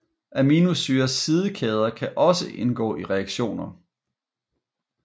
Aminosyrers sidekæder kan også indgå i reaktioner